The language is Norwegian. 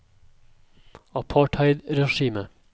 apartheidregimet